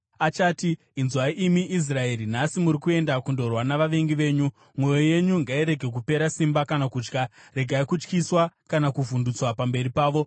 Achati, “Inzwai, imi Israeri, nhasi muri kuenda kundorwa navavengi venyu. Mwoyo yenyu ngairege kupera simba kana kutya; regai kutyiswa kana kuvhundutswa pamberi pavo.